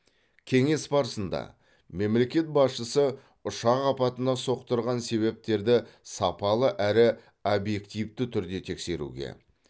кеңес барысында мемлекет басшысы ұшақ апатына соқтырған себептерді сапалы әрі объективті түрде тексеруге